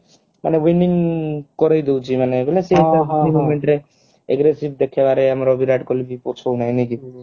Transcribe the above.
ମାନେ winning କରେଇ ଦଉଛି ମାନେ ବୋଲେ ଗୋଟେ moment ରେ aggressive ଦେଖେଇବାରେ ଆମର ବିରାଟ କୋହଲି ବି ପଛଉ ନାହିଁ ନାଇ କି